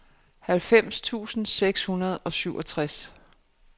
halvfems tusind seks hundrede og syvogtres